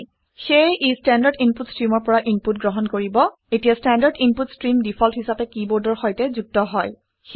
সেয়ে ই standard input ষ্ট্ৰিমৰ পৰা ইনপুট গ্ৰহণ কৰিব এতিয়া ষ্টেণ্ডাৰ্ড ইনপুট ষ্ট্ৰীম ডিফল্ট হিচাপে কিবৰ্ডৰ সৈতে যুক্ত হয়